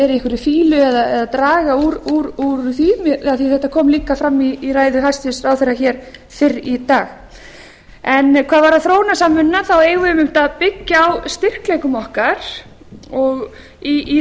í einhverri fýlu eða draga úr því af því að þetta kom líka fram í ræðu hæstvirts ráðherra hér fyrr í dag hvað varðar þróunarsamvinnuna eigum við einmitt að byggja á styrkleikum okkar í